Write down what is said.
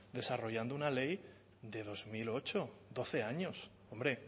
desarrollando una ley de dos mil ocho doce años hombre